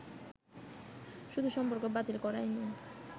শুধু সম্পর্ক বাতিল করাই নয়